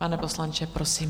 Pane poslanče, prosím.